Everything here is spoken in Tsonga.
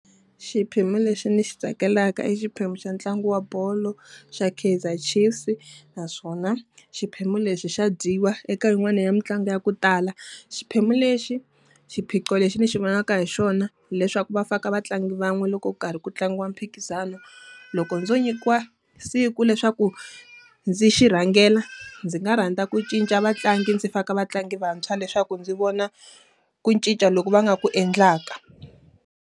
Xiphemu lexi ni xi tsakelaka i xiphemu xa ntlangu wa bolo xa Kaizer Chiefs. Naswona xiphemu lexi xa dyiwa eka yin'wana ya mitlangu ya ku tala. Xiphemu lexi, xiphiqo lexi ndzi xi vonaka hi xona hileswaku va faka vatlangi van'we loko karhi ku tlangiwa mphikizano. Loko ndzo nyikiwa siku leswaku ndzi xi rhangela, ndzi nga rhandza ku cinca vatlangi ndzi faka vatlangi vantshwa leswaku ndzi vona ku cinca loko va nga ku endlaka.